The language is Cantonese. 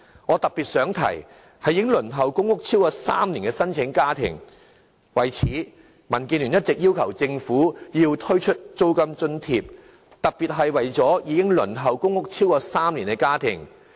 我想特別說說已輪候公屋超過3年的家庭，為此，民建聯一直要求政府推出租金津貼，特別是為了幫助已輪候公屋超過3年的家庭。